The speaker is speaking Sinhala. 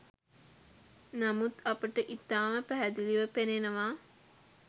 නමුත් අපට ඉතාම පැහැදිලිව පෙනෙනවා